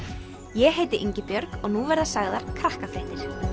ég heiti og nú verða sagðar Krakkafréttir